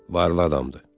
Varla adamdır.